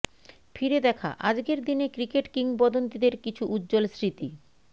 ফিরে দেখা আজকের দিনে ক্রিকেট কিংবদন্তিদের কিছু উজ্জ্বল স্মৃতি